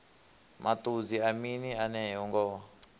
maṱudzi a mini enea ngoho